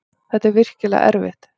Þetta er virkilega erfitt.